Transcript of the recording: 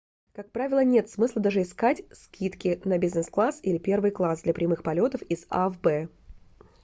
как правило нет смысла даже искать скидки на бизнес-класс или первый класс для прямых полетов из a в б